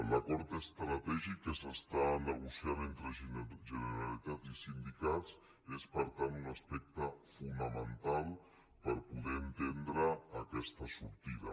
l’acord estratègic que s’està negociant entre generalitat i sindicats és per tant un aspecte fonamental per poder entendre aquesta sortida